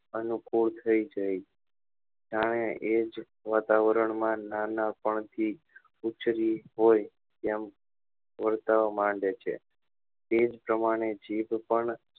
અનુકુળ થઇ જાય જ્યારે એ જ વાતાવરણ માં નાનપણ થી ઉછરી હોય એમ વર્તવા માંડે છે એ જ પ્રમાણે જીભ પણ